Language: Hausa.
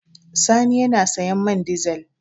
Sani yana sayan man dizel.